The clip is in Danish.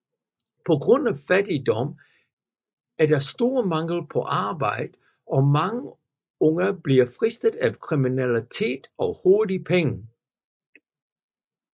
På grund af fattigdom er der stor mangel på arbejde og mange unge bliver fristet af kriminalitet og hurtige penge